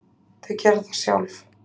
Þau gera það sjálf.